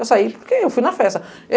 Eu saí porque eu fui na festa.